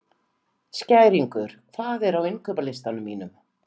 Skæringur, hvað er á innkaupalistanum mínum?